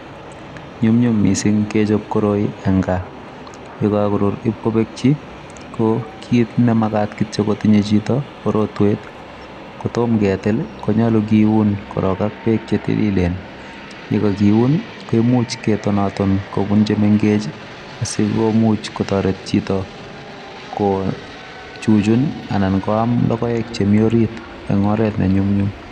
Nyumnyum mising kechop koroi en gaa. Ye kagorur ibkobekchi, ko kit nemagat kityo kotinye chito ko rotwet. Kotom ketil ko yoche kiun korong ak beek che tililen. Ye kagiun ii koimuch ketonaton kobun chemengech asikomuch kotoret chito kochuchun anan koam logoek chemi orit en oret ne nyumnyum.